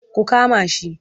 Ku kama shi!